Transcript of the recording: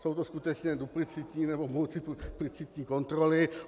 Jsou to skutečně duplicitní nebo multiplicitní kontroly.